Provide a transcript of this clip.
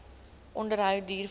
onderhou duur voort